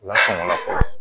Lasunɔgɔla